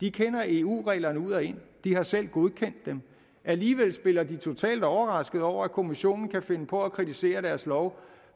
de kender eu reglerne ud og ind de har selv godkendt dem alligevel spiller de totalt overraskede over at kommissionen kan finde på at kritisere deres lov